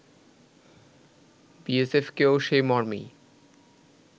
বিএসএফকেও সেই মর্মেই